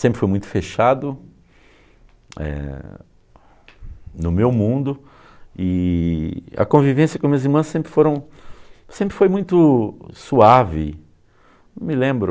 Sempre foi muito fechado eh, no meu mundo e a convivência com as minhas irmãs sempre foram, sempre foi muito suave, não me lembro.